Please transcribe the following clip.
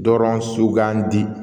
Dɔrɔn sugandi